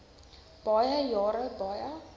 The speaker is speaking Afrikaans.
baie jare baie